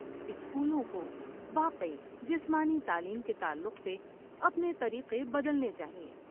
اسکولوں کو واقعی جسمانی تعلیم کے تعلق سے اپنے طریقے بدلنے چاہئیں۔